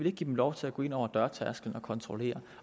ikke give dem lov til at gå ind over dørtærskelen og kontrollere